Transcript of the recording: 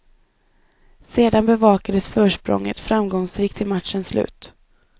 Sedan bevakades försprånget framgångsrikt till matchens slut.